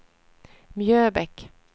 Mjöbäck